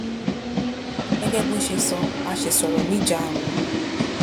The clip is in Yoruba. Gẹ́gẹ́ bó ṣe sọ a ṣì sọ̀rọ̀ níjàarùnún